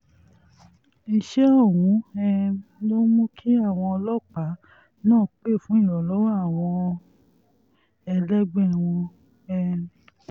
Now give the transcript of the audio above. ìṣẹ̀lẹ̀ ọ̀hún um ló mú kí àwọn ọlọ́pàá náà pẹ́ fún ìrànlọ́wọ́ àwọn ẹlẹgbẹ́ wọn um